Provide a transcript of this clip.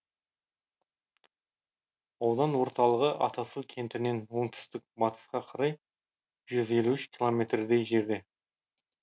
аудан орталығы атасу кентінен оңтүстік батысқа қарай жүз елу үш километрдей жерде